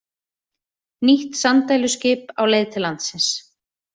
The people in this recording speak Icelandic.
Nýtt sanddæluskip á leið til landsins